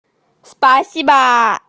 спасибо